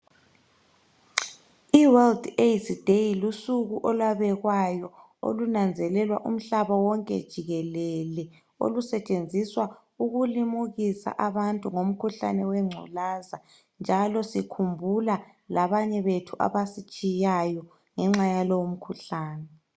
I World Aids day lusuku olwabekwayo olunanzelelwa umhlaba wonke jikelele olusetshenziswa ukulimukisa abantu ngomkhuhlane wengculaza njalo sikhumbula labanye bethu abasitshiyayo ngenxa yalowo mkhuhlane